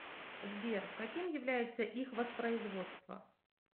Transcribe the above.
сбер каким является их воспроизводство